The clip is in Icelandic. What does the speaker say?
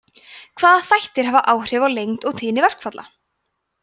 hvaða þættir hafa áhrif á lengd og tíðni verkfalla